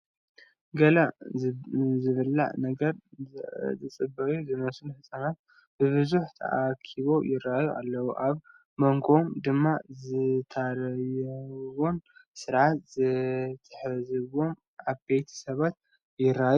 ገለ ዝብላዕ ነገር ዝፅበዩ ዝመስሉ ህፃናት ብብዝሒ ተኣኪቦ ይርአዩ ኣለዉ፡፡ ኣብ ሞንጎኦም ድማ ዘታርይዎምን ስርዓት ዘትሕዝዎምን ዓበይቲ ሰባት ይርአዩ አለዉ፡፡